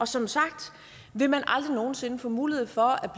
som sagt aldrig nogen sinde få mulighed for at